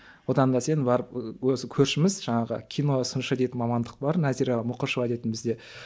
одан да сен барып өзі көршіміз жаңағы киносыншы деген мамандық бар назира мұқышева дейтін бізде